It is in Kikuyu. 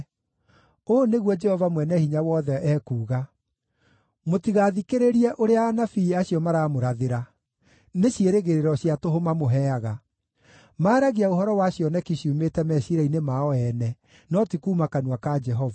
Ũũ nĩguo Jehova Mwene-Hinya-Wothe ekuuga: “Mũtigathikĩrĩrie ũrĩa anabii acio maramũrathĩra; nĩ ciĩrĩgĩrĩro cia tũhũ mamũheaga. Maaragia ũhoro wa cioneki ciumĩte meciiria-inĩ mao ene, no ti kuuma kanua ka Jehova.